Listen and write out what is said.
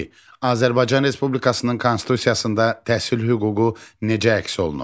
İki, Azərbaycan Respublikasının konstitusiyasında təhsil hüququ necə əks olunub?